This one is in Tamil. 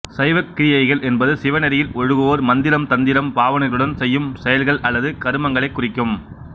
சைவக் கிரியைகள் என்பது சிவநெறியில் ஒழுகுவோர் மந்திரம் தந்திரம் பாவனைகளுடன் செய்யும் செயல்கள் அல்லது கருமங்களைக் குறிக்கும்